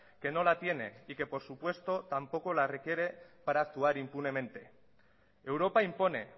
que no la tiene y que por supuesto tampoco la requiere para actuar impunemente europa impone